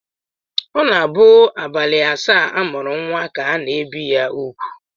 Ọ na-abụ abalị asaa a mụrụ nnwa ka a na-ebi ya úgwù